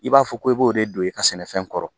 I b'a fɔ ko i b'o de don i ka sɛnɛfɛn kɔrɔ